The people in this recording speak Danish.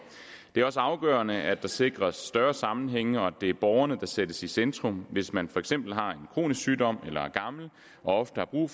det er også afgørende at der sikres større sammenhænge og at det er borgerne der sættes i centrum hvis man for eksempel har en kronisk sygdom eller er gammel og ofte har brug